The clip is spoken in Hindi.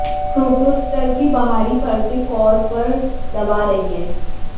प्रोटोस्टर की बाहरी परतें कोर पर दबा रही हैं